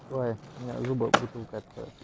ой мне зубом бутылку откроешь